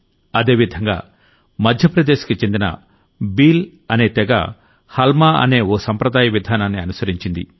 అదే విధంగా మధ్యప్రదేశ్ కి చెందిన బీల్ అనే తెగ హల్మా అనే ఓ సంప్రదాయ విధానాన్ని అనుసరించింది